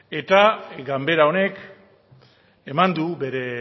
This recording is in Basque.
eta ganbara honek eman du bere